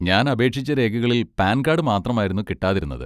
ഞാൻ അപേക്ഷിച്ച രേഖകളിൽ പാൻ കാഡ് മാത്രമായിരുന്നു കിട്ടാതിരുന്നത്.